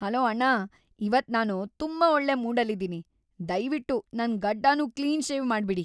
Hello ಅಣ್ಣ. ಇವತ್ ನಾನು ತುಂಬಾ ಒಳ್ಳೆ ಮೂಡಲ್ಲಿದೀನಿ. ದಯ್ವಿಟ್ಟು ನನ್ ಗಡ್ಡನೂ ಕ್ಲೀನ್ ಶೇವ್ ಮಾಡ್ಬಿಡಿ.